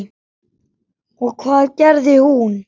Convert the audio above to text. Og hvað gerði hún?